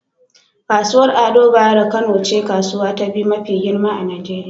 Kasuwar Ado Bayero Kano ce kasuwa ta biyu mafi girma a Nijeriya.